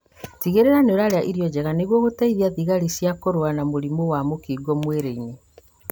Tigĩrĩra nĩũrarĩa irio njega nĩguo gũteithia thigari cia kũrũa na mũrimũ wa mũkingo mwĩrĩ-inĩ